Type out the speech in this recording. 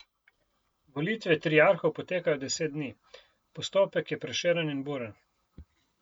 Volitve triarhov potekajo deset dni, postopek je prešeren in buren.